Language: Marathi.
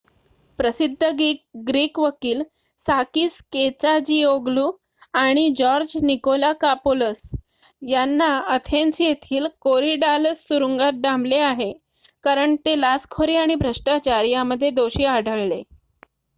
प्रसिद्ध ग्रीक वकील साकीस केचाजीओग्लू आणि जॉर्ज निकोलाकापोलस यांना अथेन्स येथील कोरीडालस तुरुंगात डांबले आहे कारण ते लाचखोरी आणि भ्रष्टाचार यामध्ये दोषी आढळले